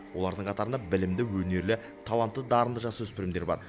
олардың қатарында білімді өнерлі талантты дарынды жасөспірімдер бар